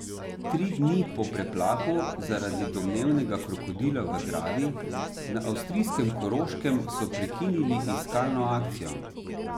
Tri dni po preplahu zaradi domnevnega krokodila v Dravi na avstrijskem Koroškem so prekinili iskalno akcijo.